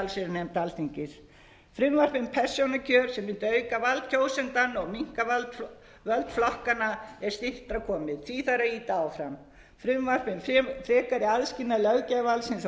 í allsherjarnefnd alþingis frumvarp um persónukjör sem mundi auka vald kjósenda og minnka völd flokkanna er styttra komið því þarf að ýta áfram frumvarp um frekari aðskilnað löggjafarvaldsins og